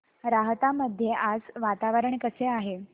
राहता मध्ये आज वातावरण कसे आहे